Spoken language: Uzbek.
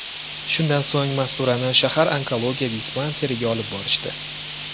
Shundan so‘ng Masturani shahar onkologiya dispanseriga olib borishdi.